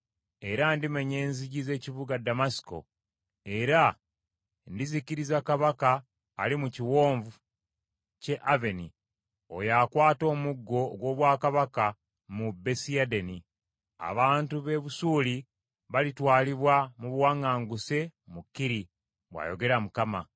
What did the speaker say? Era ndimenya enzigi z’ekibuga Ddamasiko era ndizikiriza kabaka ali mu Kiwonvu ky’e Aveni, oyo akwata omuggo ogw’obwakabaka mu Besiadeni. Abantu b’e Busuuli balitwalibwa mu buwaŋŋanguse mu Kiri,” bw’ayogera Mukama .